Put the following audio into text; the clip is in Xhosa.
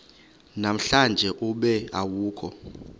namhlanje ube awukho